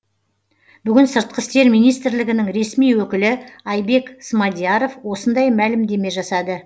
бүгін сыртқы істер министрілгінің ресми өкілі айбек смадияров осындай мәлімдеме жасады